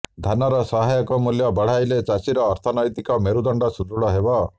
ଧାନର ସହାୟକ ମୂଲ୍ୟ ବଢ଼ାଇଲେ ଚାଷୀର ଅର୍ଥନୈତିକ ମେରୁଦଣ୍ଡ ସୃଦୃଢ଼ ହେବ